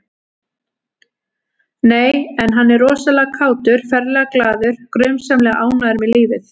Nei, en hann er rosalega kátur, ferlega glaður, grunsamlega ánægður með lífið